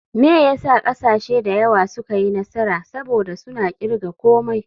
Me yasa kasashe da yawa suka yi nasara, saboda suna kirga komai.